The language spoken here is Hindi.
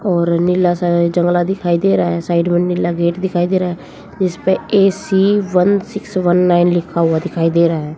और नीला सा जंगला दिखाई दे रहा है। साइड में नीला गेट दिखाई दे रहा है। जिसपे AC one six one nine लिखा हुआ दिखाई दे रहा है।